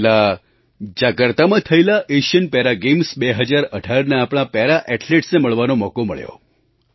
પહેલાં જાકાર્તામાં થયેલા એશિયન પેરા ગૅમ્સ 2018ના આપણા પેરા ઍથ્લેટ્સને મળવાનો મોકો મળ્યો